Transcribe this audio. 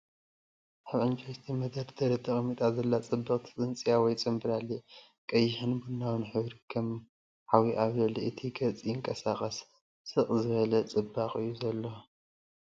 ኣብ ዕንጨይቲ መደርደሪ ተቐሚጣ ዘላ ጽብቕቲ ጽንጽያ/ ፅንብላሊዕ ፤ ቀይሕን ቡናውን ሕብሩ ከም ሓዊ ኣብ ልዕሊ እቲ ገጽ ይንቀሳቐስ። ስቕ ዝበለ ጽባቐ እዩ ዘለዋ።